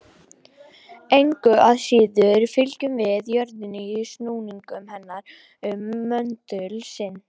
Engu að síður fylgjum við jörðinni í snúningi hennar um möndul sinn.